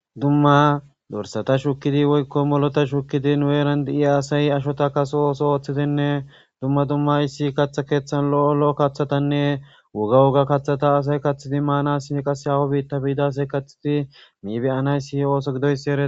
dumma dorsata shukidi woykko molota shukidi nueeran di7iya asayi ashota kaso oso ooththitenne dumma dummays si katha keeththan lo7o lo7o kaththatanne woga woga kaththata asay kathidi maana si qas hawo biitta biidasay kathidi miibeyanay si ooso gidoys ere